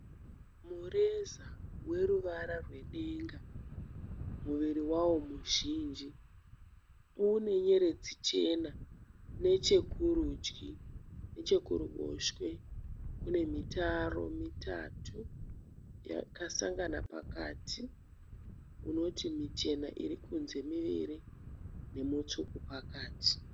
Mureza weruvara rwedenga. Muviri wavo muzhinji une nyeredzi chena nechekurudyi. Nechekuruboshwe kune mitaro mitatu yakasangana pakati unoti michena iri kunze miviri nemutsvuku pakati.